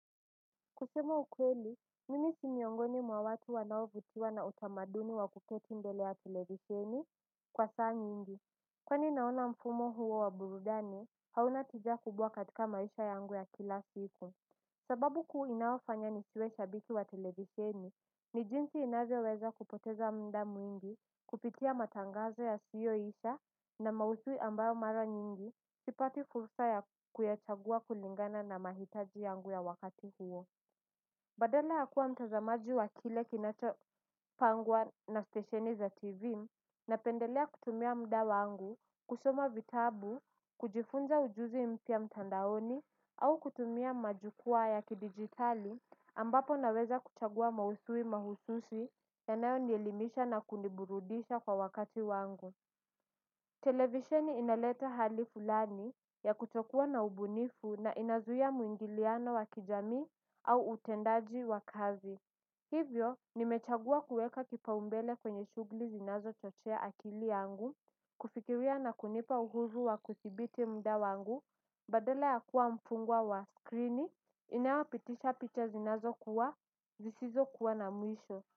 Kusema ukweli, mimi si miongoni mwa watu wanao vutiwa na utamaduni wa kuketi mbele ya televiseni kwa saa nyingi. Kwani naona mfumo huo wa burudani hauna tijaa kubwa katika maisha yangu ya kila siku. Sababu kuu inaofanya nishiwe shabiti wa televiseni ni jinsi inavyoweza kupoteza muda mwingi kupitia matangazo ya siyo isha na mausui ambayo mara nyingi sipati fursa ya kuyachagua kulingana na mahitaji yangu ya wakati huo. Badala ya kuwa mtazamaji wa kile kinacho pangwa na stasheni za tv na pendelea kutumia mda wangu, kusoma vitabu, kujifunza ujuzi mpya mtandaoni au kutumia majukua ya kidigitali ambapo naweza kuchagua mausui mahususi ya nayo nielimisha na kuniburudisha kwa wakati wangu. Televisheni inaleta hali fulani ya kutokuwa na ubunifu na inazuiya muingiliano wa kijamii au utendaji wa kazi. Hivyo, nimechagua kueka kipaumbele kwenye shugli zinazo chochea akili yangu. Kufikiria na kunipa uhuzu wa kuthibiti mda wangu. Badala ya kuwa mpungwa wa skrini, inayopitisha picha zinazo kuwa, zisizo kuwa na mwisho.